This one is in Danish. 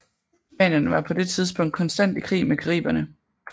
Spanierne var på det tidspunkt konstant i krig med Cariberne